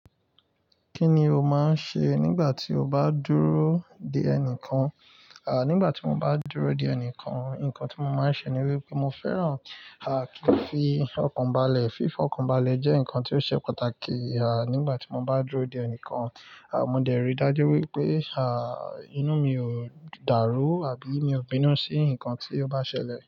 Kí ni o máa ń ṣe nígbà tí o bá dúró de ẹnìkan? Nígbà tí mo bá dúró de ẹnìkan, nǹkan tí mo máa ń ṣe ni wípé mo fẹ́ràn, kí n fi ọkàn balẹ̀. Fífọkàn balẹ̀ jẹ́ ǹkan tí ó ṣe pàtàkì, nígbà tí mo bá dúró de ẹnìkan, mo dẹ̀ rí i dájú wípé, inú mi ò dàrú àbí mi ò bínú sí ǹkan tí ó bá ṣẹlẹ̀